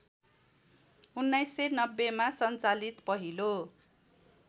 १९९०मा सञ्चालित पहिलो